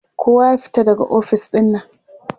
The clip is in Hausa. Kowa ya fita daga ofis ɗin nan!